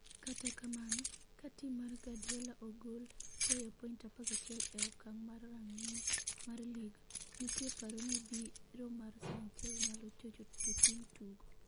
Kata kamano, ka tim mar Guardiola ogol goyo point 11 e okang' mar rang'iny mar lig, nitie paro ni biro mar Sanchez nyalo chocho jotim tugo.